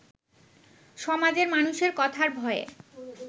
সমাজের মানুষের কথার ভয়ে